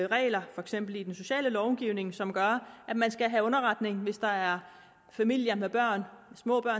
regler for eksempel i den sociale lovgivning som gør at man skal have underretning hvis der er familier med børn